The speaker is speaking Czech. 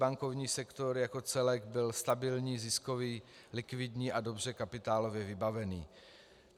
Bankovní sektor jako celek byl stabilní, ziskový, likvidní a dobře kapitálově vybavený.